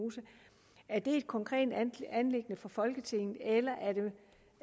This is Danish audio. er det et konkret anliggende for folketinget eller